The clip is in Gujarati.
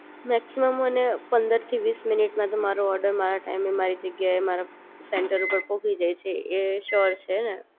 મેક્સિમમ અને પંદર થી વીસ મિનિટ મારો ઓર્ડર મારા ટાઈમે મારી જગ્યાએ મારા સેન્ટર ઉપર પહોંચી જાય એ રીતે એ શ્યોર છે હે ને